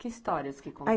Que histórias que